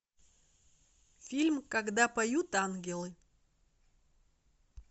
фильм когда поют ангелы